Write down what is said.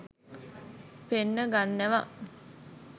පෙන්න ගන්නවා